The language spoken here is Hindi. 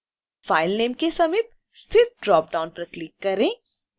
file name के समीप स्थित ड्रॉप डाउन पर क्लिक करें